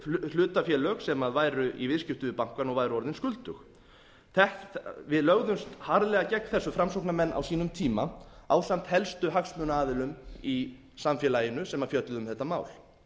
hlutafélög sem væri í viðskiptum við bankana og væru orðin skuldug við lögðumst harðlega gegn þessu framsóknarmenn á sínum tíma ásamt helstu hagsmunaaðilum í samfélaginu sem fjölluðu um þetta mál